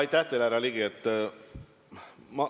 Aitäh teile, härra Ligi!